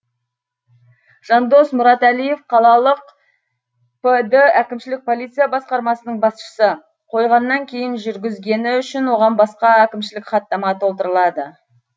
жандос мұратәлиев қалалық пд әкімшілік полиция басқармасының басшысы қойғаннан кейін жүргізгені үшін оған басқа әкімшілік хаттама толтырылады